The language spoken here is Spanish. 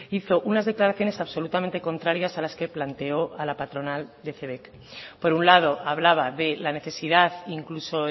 hizo unas declaraciones absolutamente contrarias a las que planteó a la patronal de cebek por un lado hablaba de la necesidad incluso